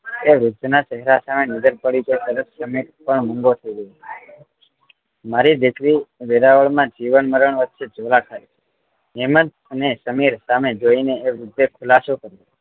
એ રૂપના ચેહરા પર નજર પડી પછી સમીર પણ તરત મૂંગો થઇ ગયો મારી દીકરી વેરાવળ માં જીવન મરણ વચ્ચે ઝોલા ખાઈ છે હેમંત અને સમીર સામે જોઈને એ વૃદ્ધએ ખુલાસો કર્યો